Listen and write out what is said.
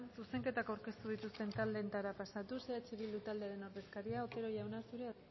zuzenketak aurkeztu dituzten taldeetara pasatuz eh bildu taldearen ordezkaria otero jauna zurea